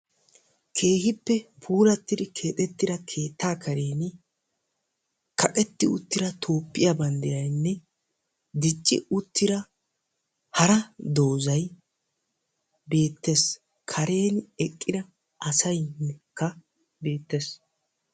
Keehippe puulattidi keexxettida keettaa karen kaqetti uttida Toophphiya banddiraynne dicci uttida hara doozzay beettees. karen eqqida asaykka beettees.